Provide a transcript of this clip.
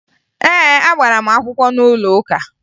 Ee, agbara m akwụkwọ n'ụlọụka